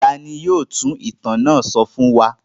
Ta ni yóò tú ìtàn náà sọ fún wa?